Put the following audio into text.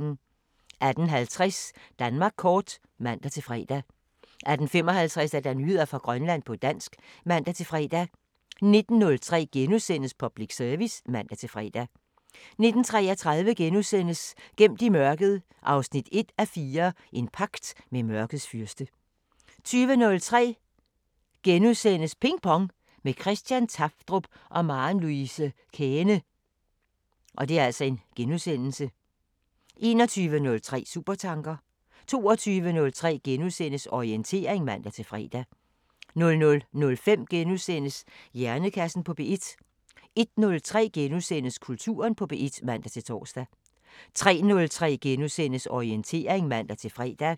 18:50: Danmark kort (man-fre) 18:55: Nyheder fra Grønland på dansk (man-fre) 19:03: Public Service *(man-fre) 19:33: Gemt i mørket 1:4 – En pagt med mørkets fyrste * 20:03: Ping Pong – med Christian Tafdrup og Maren Louise Käehne (G) * 21:03: Supertanker 22:03: Orientering *(man-fre) 00:05: Hjernekassen på P1 * 01:03: Kulturen på P1 *(man-tor) 03:03: Orientering *(man-fre)